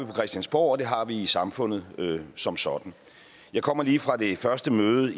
på christiansborg og det har vi i samfundet som sådan jeg kommer lige fra det første møde